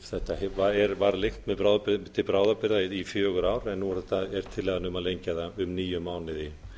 þetta var lengt til bráðabirgða í fjögur ár en nú er tillaga um að lengja það um níu mánuði